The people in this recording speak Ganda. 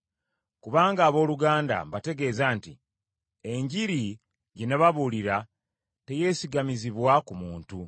Kubanga abooluganda, mbategeeza nti, Enjiri gye nababuulira teyeesigamizibwa ku muntu,